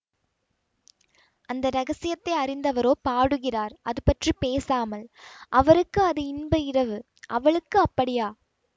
அந்த இரகசியத்தை அறிந்தவரோ பாடுகிறார் அதுபற்றி பேசாமல் அவருக்கு அது இன்ப இரவு அவளுக்கு அப்படியா